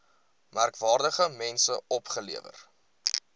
merkwaardige mense opgelewer